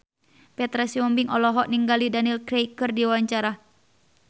Petra Sihombing olohok ningali Daniel Craig keur diwawancara